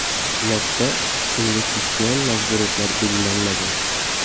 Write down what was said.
Lotda investitsion majburiyatlar belgilanmagan.